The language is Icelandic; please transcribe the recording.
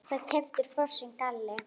Það var keyptur frosinn kalli.